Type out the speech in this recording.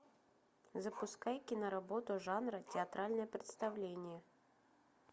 запускай киноработу жанра театральное представление